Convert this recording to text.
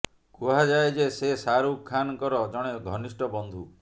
କୁହାଯାଏ ଯେ ସେ ଶାହାରୁଖ ଖାନଙ୍କର ଜଣେ ଘନିଷ୍ଠ ବନ୍ଧୁ